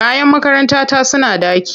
Kayan makarantata suna ɗaki.